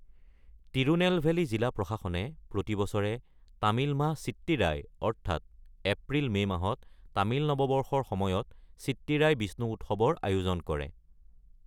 তিৰুনেলভেলী জিলা প্ৰশাসনে প্ৰতি বছৰে তামিল মাহ চিট্টিৰাই অৰ্থাৎ এপ্ৰিল-মে মাহত তামিল নৱবৰ্ষৰ সময়ত চিট্টিৰাই বিষ্ণু উৎসৱৰ আয়োজন কৰে।